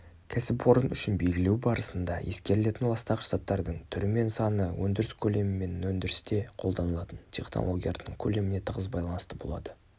кәсіпорын үшін белгілеу барысында ескерілетін ластағыш заттардың түрі мен саны өндіріс көлемі мен өндірісте қолданылатын технологиялардың көлеміне тығыз байланысты болады